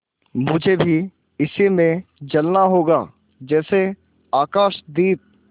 मुझे भी इसी में जलना होगा जैसे आकाशदीप